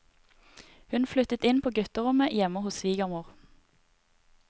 Hun flyttet inn på gutterommet hjemme hos svigermor.